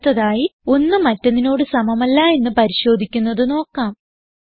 അടുത്തതായി ഒന്ന് മറ്റൊന്നിനോട് സമമല്ല എന്ന് പരിശോധിക്കുന്നത് നോക്കാം